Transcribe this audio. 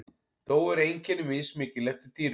þó eru einkenni mismikil eftir dýrum